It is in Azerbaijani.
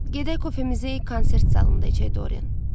Gedək kofemizi konsert zalında içək, Dorian.